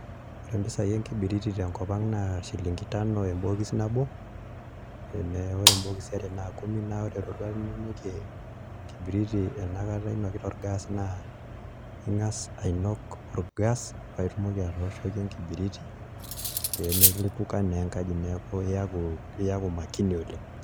Ore imbisai enkibiriti te nkop ang' naa shilingi tano ebokiis nabo tee ore ibokisi are naa kumi naa ore iroruat ninokie enkibiriti enkata inokita olgaas naa Inga's ainok orgaas paa itumoki atooshoki enkibiriti pee milipuka enkaji neeku iauku iyaku making oleng'